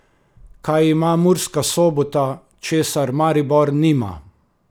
Kaj ima Murska Sobota, česar Maribor nima?